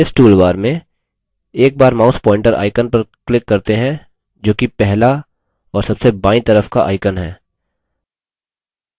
इस toolbar में एक बार mouse pointer icon पर click करते हैं जोकि पहला और सबसे बायीं तरफ का icon है